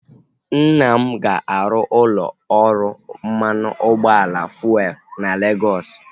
Nna m ga-arụ ụlọ ọrụ mmanụ ụgbọala fuelu na Legọs